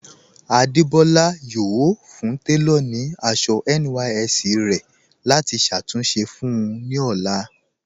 Adébọ́lá yọ̀ọ́ fún tẹlọ̀ ní àṣọ NYSC rẹ̀ láti ṣàtúnṣe fún un ní ọlá.